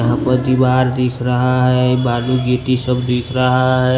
यह पर दीवार दिख रहा है बालू गिटी सब दिख रहा है।